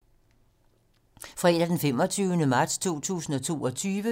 Fredag d. 25. marts 2022